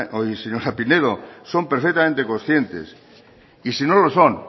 pinedo son perfectamente conscientes y si no lo son